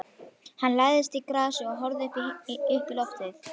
Hann lagðist í grasið og horfði uppí loftið.